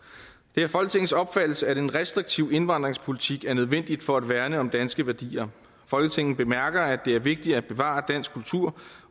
det er folketingets opfattelse at en restriktiv indvandringspolitik er nødvendig for at værne om danske værdier folketinget bemærker at det er vigtigt at bevare dansk kultur